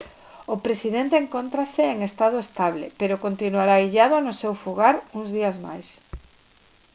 o presidente encóntrase en estado estable pero continuará illado no seu fogar uns días máis